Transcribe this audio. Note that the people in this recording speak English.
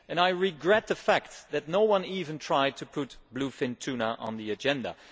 I regret the fact that no one even tried to put bluefin tuna on the agenda.